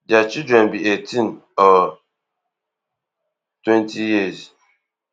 dia children be eighteen or twenty years old